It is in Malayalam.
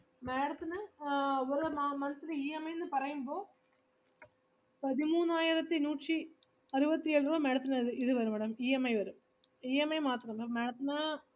madam ത്തിന് ആഹ് ഓരോ മ~ monthlyEMI ന്ന് പറയുമ്പോൾ പതിമൂന്നായിരത്തിനൂറ്റി അറുപത്തിയേഴ് രൂപ madam ത്തിന് വരും, ഇത് വരും madamEMI വരും EMI മാത്രം, പിന്ന madam ത്തിന്